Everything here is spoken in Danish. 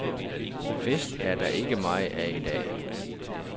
Fest er der ikke meget af i dag.